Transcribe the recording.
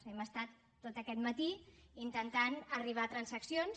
hem estat tot aquest matí intentant arribar a transaccions